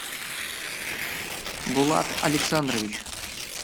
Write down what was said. булат александрович